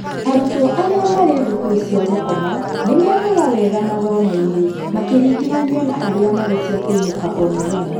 Arutwo aria marĩ thukuru cia gũkoma nĩ mekaga wega mathomo-inĩ makĩringithanio na arĩa marĩ cia kũinũka o-mũthenya.